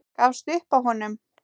Gafst upp á honum.